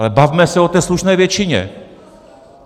Ale bavme se o té slušné většině.